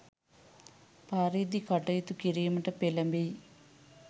පරිදි කටයුතු කිරීමට පෙලඹෙයි.